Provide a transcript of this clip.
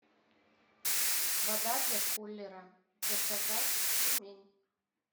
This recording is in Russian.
вода для кулера заказать тюмень